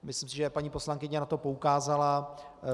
Myslím si, že paní poslankyně na to poukázala.